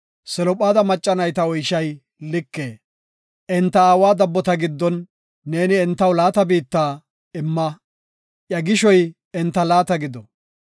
“Selophaada macca nayta oyshay like; enta aawa dabbota giddon neeni entaw laata biitta imma; iya gishoy enta laata gido.